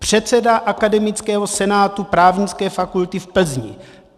Předseda Akademického senátu Právnické fakulty v Plzni.